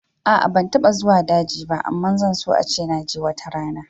A'a ban taɓa zuwa daji ba amma zan so ace naje watarana